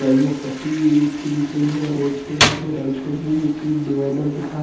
Yellow पट्टी एक दिख रही हैं रोड पे यहाँ पे राइट साइड में एक डिवाइडर दिख रहा हैं।